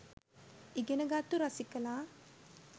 ඉගෙන ගත්තු රසිකලා